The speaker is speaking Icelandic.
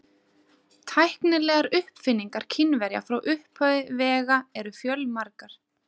Svar þetta byggir að einhverju leyti á óbirtri rannsókn höfundar á mannabeinum úr íslenskum kumlum.